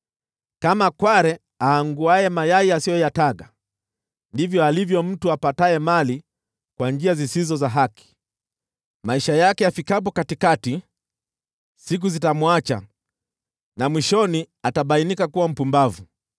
Kama kware aanguaye mayai asiyoyataga, ndivyo alivyo mtu apataye mali kwa njia zisizo za haki. Maisha yake yafikapo katikati, siku zitamwacha, na mwishoni atabainika kuwa mpumbavu.